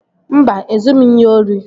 Mba, ezughị m ya ori